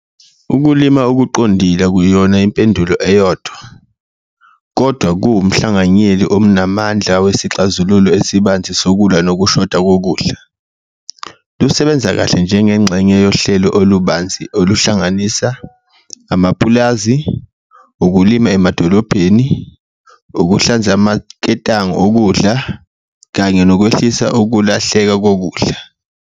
Ukulima okuqondile akuyona impendulo eyodwa kodwa kuwumhlanganyeli omnamandla wesixazululo esibanzi sokulwa nokushoda kokudla, lusebenza kahle njengengxenye yohlelo olubanzi oluhlanganisa amapulazi, ukulima emadolobheni, ukuhlanza amaketangu okudla kanye nokwehlisa ukulahleka kokudla.